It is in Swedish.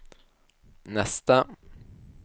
nästa